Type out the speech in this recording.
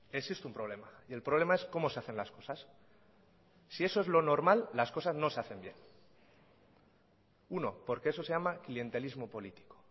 existe un problema y el problema es cómo se hacen las cosas si eso es lo normal las cosas no se hacen bien uno porque eso se llama clientelismo político